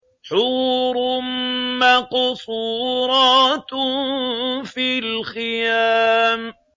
حُورٌ مَّقْصُورَاتٌ فِي الْخِيَامِ